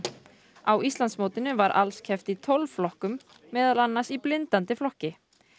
á Íslandsmótinu var alls keppt í tólf flokkum meðal annars í blindandi flokki